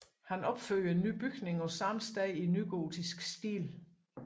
Han opførte en ny bygning på samme sted i nygotisk stil